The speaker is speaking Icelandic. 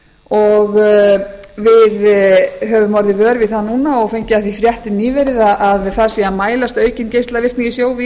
og við höfum orðið vör við það núna og fengið af því fréttir nýverið að það séu að mælast aukin geislavirkni í sjó við